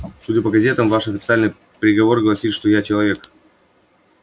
судя по газетам ваш официальный приговор гласил что я человек